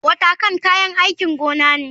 Watercan kayan aikin gona ne.